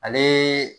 Ale